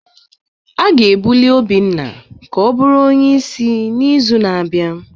A ga-ebuli Obinna ka ọ bụrụ onye isi n'izu na-abịa